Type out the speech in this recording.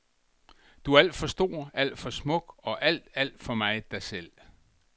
Du er alt for stor, alt for smuk og alt, alt for meget dig selv.